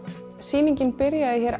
sýningin byrjaði